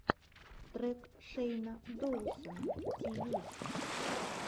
трек шейна доусона ти ви